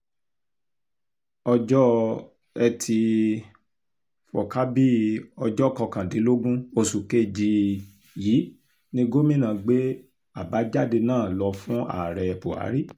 ọjọ́ etí um furcabee ọjọ́ kọkàndínlógún oṣù kejì um yìí ni gomina gbé àbájáde náà lọ fún ààrẹ buhari